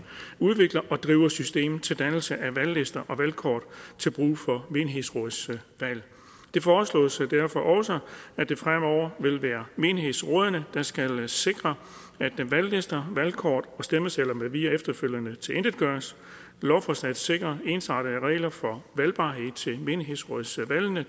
udvikler og driver systemet til dannelse af valglister og valgkort til brug for menighedsrådsvalg det foreslås derfor også at det fremover vil være menighedsrådene der skal sikre at valglister valgkort og stemmesedler med videre efterfølgende tilintetgøres lovforslaget sikrer ensrettede regler for valgbarhed til menighedsrådsvalgene